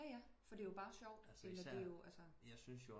Jaja fordi det er jo bare sjovt